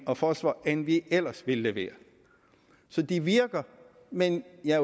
og fosfor end vi ellers ville levere så det virker men jeg